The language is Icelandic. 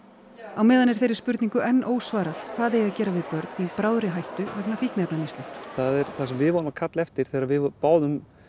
á meðan er þeirri spurningu enn ósvarað hvað eigi að gera við börn í bráðri hættu vegna fíkniefnaneyslu það sem við vorum að kalla eftir þegar við báðum